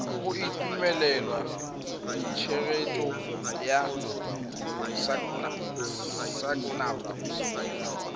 go itumelela tshegetso ya sacnasp